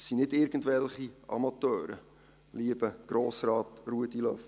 Es sind nicht irgendwelche Amateure, lieber Grossrat Ruedi Löffel.